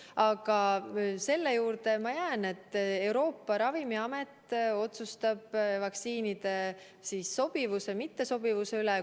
Aga selle juurde ma jään, et Euroopa Ravimiamet otsustab vaktsiinide sobivuse või mittesobivuse üle.